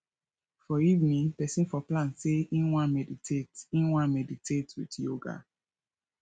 for evening person for plan sey im wan meditate im wan meditate with yoga